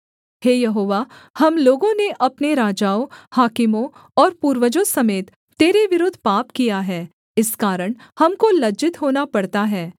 हे यहोवा हम लोगों ने अपने राजाओं हाकिमों और पूर्वजों समेत तेरे विरुद्ध पाप किया है इस कारण हमको लज्जित होना पड़ता है